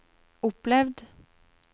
opplevd